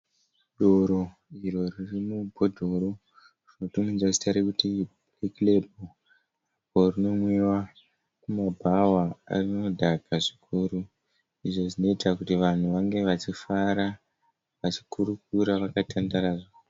Doro iro riri mubhodhoro rinotumidzwa zita rekuti Black Label. Rinonwiwa kumabhawa, rinodhaka zvikuru. Izvo zvinoita kuti vanhu vange vachifara, vachikurukura vakatandara zvavo.